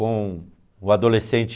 Com o adolescente...